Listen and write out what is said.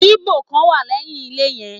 Igbó kan wà lẹ́yìn ilé yen